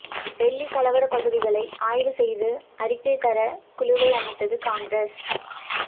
டெல்லி கலவர பகுதிகளை ஆய்வு செய்து அறிக்கை தர குழுவை அமைத்தது காங்கிரஸ்